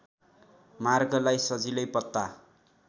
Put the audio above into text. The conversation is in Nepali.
मार्गलाई सजिलै पत्ता